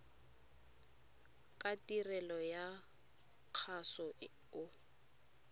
ka tirelo ya kgaso o